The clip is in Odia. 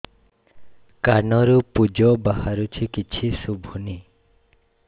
କାନରୁ ପୂଜ ବାହାରୁଛି କିଛି ଶୁଭୁନି